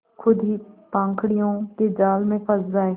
खुद ही पाखंडियों के जाल में फँस जाए